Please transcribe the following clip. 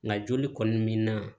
Nka joli kɔni min na